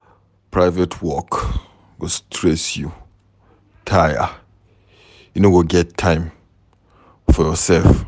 Private work go stress you tire, you no go get time for yoursef.